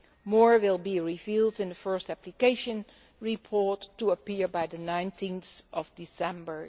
More will be revealed in the first application report, due to appear by 19 December